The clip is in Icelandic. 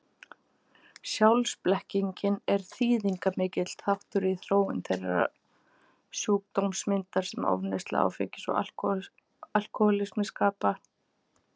Sjálfsblekkingin er þýðingarmikill þáttur í þróun þeirrar sjúkdómsmyndar sem ofneysla áfengis og alkohólismi skapa.